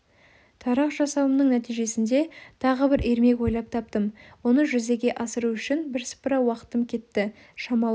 тарақ жасауымның нәтижесінде тағы бір ермек ойлап таптым оны жүзеге асыру үшін бірсыпыра уақытым кетті шамалы